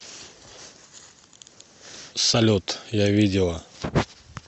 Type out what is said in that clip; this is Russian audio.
салют я видела